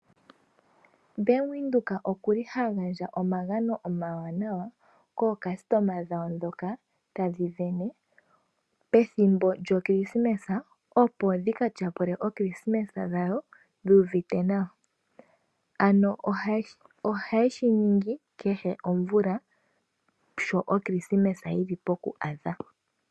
Bank Windhoek okuli hagandja omagano omawanawa kaakuthimbinga ye, dhoka tadhi dhenge pethimbo lyokilisimesa opo dhika tyapule okilisimesa yawo dhuuvite nawa, ano ohayeshi ningi kehe omvula sho okilisimesa yili poku adha.